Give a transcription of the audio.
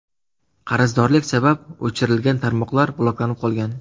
Qarzdorlik sabab o‘chirilgan tarmoqlar bloklanib qolgan.